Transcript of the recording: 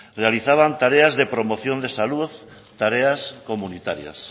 realizaban tareas de promoción de salud tareas comunitarias